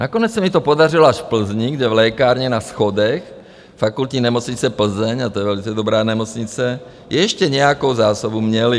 Nakonec se mi to podařilo až v Plzni, kde v lékárně na schodech Fakultní nemocnice Plzeň, a to je velice dobrá nemocnice, ještě nějakou zásobu měli.